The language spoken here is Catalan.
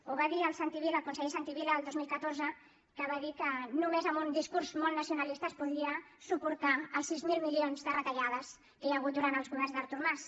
ho va dir el conseller santi vila el dos mil catorze que va dir que només amb un discurs molt nacionalista es podia suportar els sis mil milions de retallades que hi ha hagut durant els governs d’artur mas